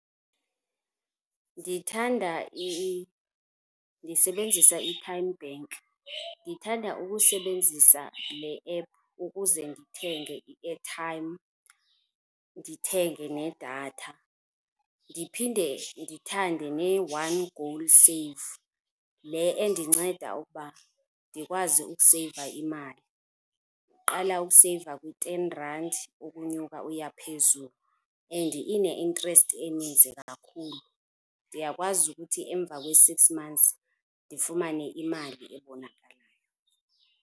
Ndithanda , ndisebenzisa iTymeBank. Ndithanda ukusebenzisa le app ukuze ndithenge i-airtime ndithenge nedatha, ndiphinde ndithande ne-One GoalSave, le endinceda ukuba ndikwazi ukuseyiva imali. Uqala ukuseyiva kwi-ten randi ukunyuka uya phezulu and ine-interest eninzi kakhulu. Ndiyakwazi ukuthi emva kwe-six months ndifumane imali ebonakalayo.